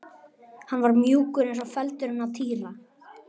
Hann var mjúkur eins og feldurinn á Týra.